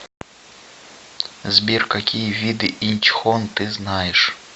сбер какие виды инчхон ты знаешь